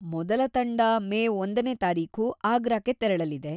ಮೊದಲ ತಂಡ ಮೇ ಒಂದನೇ ತಾರೀಖು ಆಗ್ರಾಕ್ಕೆ ತೆರಳಲಿದೆ.